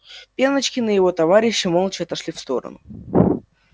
пеночкин и его товарищи молча отошли в сторону